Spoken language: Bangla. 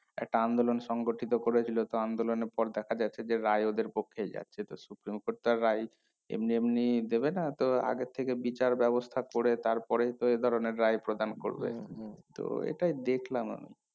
একটা আন্দোলন সংগঠিত করেছিল তা আন্দোলন এর পর দেখা যাচ্ছে যে রায় ওদের পক্ষে যায় সে তো supreme court তার রায় এমনি এমনি দেবে না তো আগের থেকে বিচার ব্যবস্থা করে তারপরেই তো এই ধরণের রায় প্রদান করবে তো এটাই দেখলাম আমি